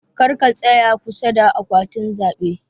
karka tsaya kusa da akwatin zabe.